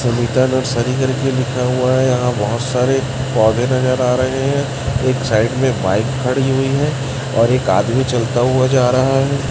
Sunita nursery करके लिखा हुआ है यहाँ बहोत सारे पौधे नजर आ रहें हैं एक साइड में बाइक खड़ी हुई है और एक आदमी चलता हुवा जा रहा है।